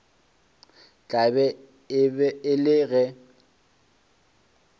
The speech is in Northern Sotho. tla be e le ge